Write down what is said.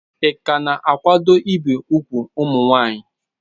Ị ka na-akwado ibi úgwù ụmụ nwanyị?